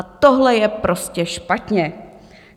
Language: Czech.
A tohle je prostě špatně.